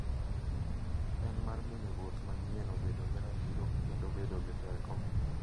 En mar miyo ruoth manyienno bedo gi ratiro kendo bedo gi teko.